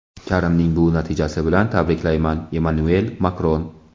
Karimning bu natijasi bilan tabriklayman – Emmanuel Makron.